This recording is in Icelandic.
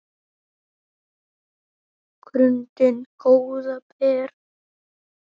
grundin góða ber